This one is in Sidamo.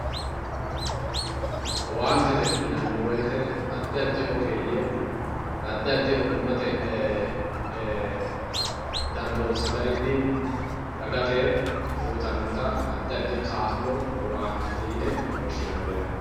Owanitete yinani woyite adi adi ogeyye adi adi ogumate danidonsa garinni dagate uyitanotta adi adi kaalo owanitete yine woshinni yaate